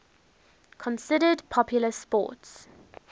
considered popular sports